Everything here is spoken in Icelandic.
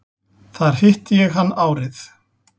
Þar hitti ég hann árið